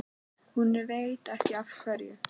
Hún veit ekki af hverju.